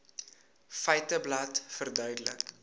feiteblad verduidelik